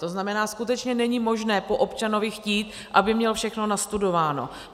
To znamená, skutečně není možné po občanovi chtít, aby měl všechno nastudováno.